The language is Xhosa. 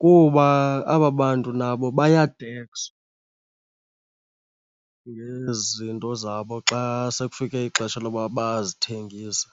Kuba aba bantu nabo bayatekswa ngezi zinto zabo xa sekufike ixesha loba bazithengise.